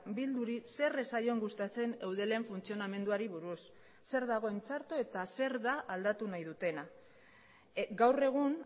bilduri zer ez zaion gustatzen eudelen funtzionamenduari buruz zer dagoen txarto eta zer da aldatu nahi dutena gaur egun